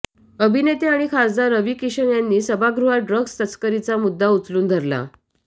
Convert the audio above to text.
अभिनेते आणि खासदार रवी किशन यांनी सभागृहात ड्रग्स तस्करीचा मुद्दा उचलून धरला